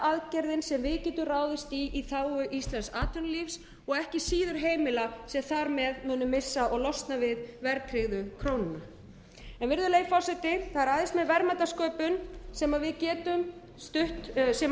aðgerðin sem við getum ráðist í í þágu íslensks atvinnulífs og ekki síður heimila sem þar með munu missa og losna við verðtryggðu krónuna virðulegi forseti það ræðst með verðmæta sköpun sem við getum staðið undir þeim bættu